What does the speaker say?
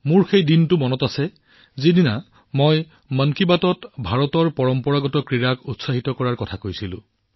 মোৰ সেই দিনটো মনত আছে যেতিয়া আমি মন কী বাতত ভাৰতৰ পৰম্পৰাগত ক্ৰীড়াক উৎসাহিত কৰাৰ কথা কৈছিলো